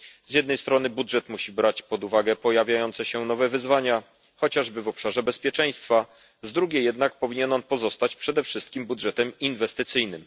Z jednej strony budżet musi brać pod uwagę pojawiające się nowe wyzwania, chociażby w obszarze bezpieczeństwa, z drugiej jednak powinien on pozostać przede wszystkim budżetem inwestycyjnym.